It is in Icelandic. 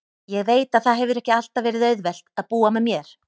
Ég veit að það hefur ekki alltaf verið auðvelt að búa með mér.